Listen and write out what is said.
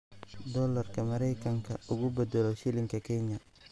Doolarka Maraykanka ugu beddelo shilinka Kenya